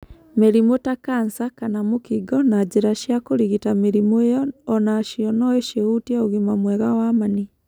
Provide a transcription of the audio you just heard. Mĩrimũ ta Kanca kana mũkingo na njĩra cia kũrigita mĩrimũ ĩo o nacio no cĩhutie ũgima mwega wa mani.